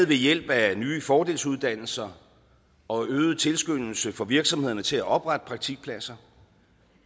ved hjælp af nye fordelsuddannelser og øget tilskyndelse for virksomhederne til at oprette praktikpladser